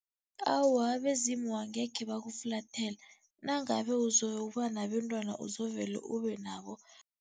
Awa, abezimu angekhe bakuflathela. Nangabe uzokuba nabentwana uzovele ubenabo.